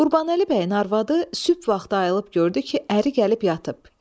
Qurbanəli bəyin arvadı sübh vaxtı ayılıb gördü ki, əri gəlib yatıb.